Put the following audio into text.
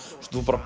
þú bara